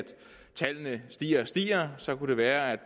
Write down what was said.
tallene stiger og stiger så kunne det være at